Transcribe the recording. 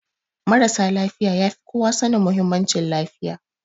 Marasa lafiya ya fi kowa sanin muhimmancin lafiya